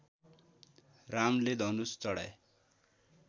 रामले धनुष चढाए